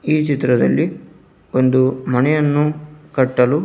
ಈ ಚಿತ್ರದಲ್ಲಿ ಒಂದು ಮನೆಯನ್ನು ಕಟ್ಟಲು--